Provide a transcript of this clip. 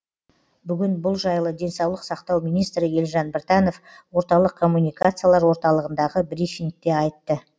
бүгін бұл жайлы денсаулық сақтау министрі елжан біртанов орталық коммуникациялар орталығындағы брифингте айтты